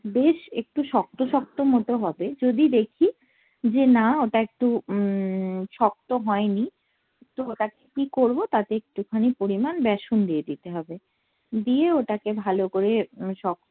বেশ একটু শক্ত শক্ত মতো হবে যদি দেখি যে না ওটা একটু উম শক্ত হয়নি তো ওটা কি করবো তাতে একটুখানি পরিমান ব্যাসন দিয়ে দিতে হবে দিয়ে ওটাকে ভালো করে